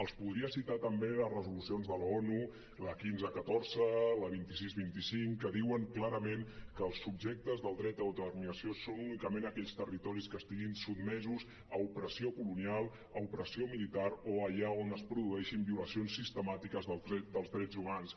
els podria citar també les resolucions de l’onu la quinze catorze la vint sis vint cinc que diuen clarament que els subjectes del dret d’autodeterminació són únicament aquells territoris que estiguin sotmesos a opressió colonial a opressió militar o allà on es produeixin violacions sistemàtiques dels drets humans